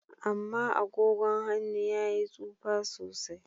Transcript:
Ama agogon han'nu ya yi tsufa sosai.